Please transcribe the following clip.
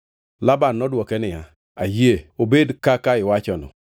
Laban nodwoke niya, “Ayie, obed kaka iwachono.”